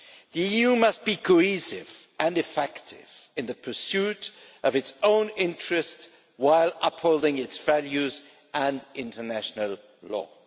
The EU must be cohesive and effective in the pursuit of its own interests while upholding its values and international law.